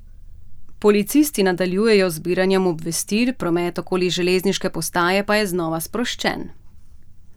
Policisti nadaljujejo z zbiranjem obvestil, promet okoli železniške postaje pa je znova sproščen.